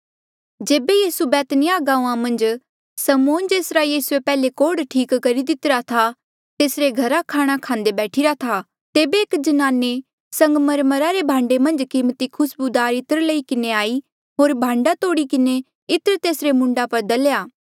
जेबे यीसू बैतनिय्याह गांऊँआं मन्झ समौन जेसरा यीसूए पैहले कोढ़ ठीक कितिरा था तेसरे घरा खाणा खांदे बैठिरा था तेबे एक ज्नाने संगमरमरा रे भांडे मन्झ कीमती खुस्बूदार इत्र लई किन्हें आई होर भांडा तोड़ी किन्हें इत्र तेसरे मूंडा पर दलेया